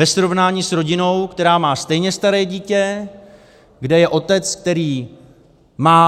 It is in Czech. Ve srovnání s rodinou, která má stejně staré dítě, kde je otec, který má